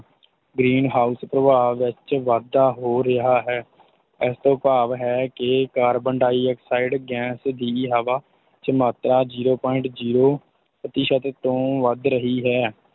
Green house ਪ੍ਰਭਾਵ ਵਿੱਚ ਵਾਧਾ ਹੋ ਰਿਹਾ ਹੈ ਇਸ ਤੋਂ ਭਾਵ ਇਹ ਹੈ ਕਿ ਕਾਰਬਨ ਡਾਇਆਕਸਾਈਡ ਗੈਸ ਦੀ ਹਵਾ ਵਿੱਚ ਮਾਤਰਾ zero point zero ਪ੍ਰਤੀਸ਼ਤ ਤੋਂ ਵੱਧ ਰਹੀ ਹੈ।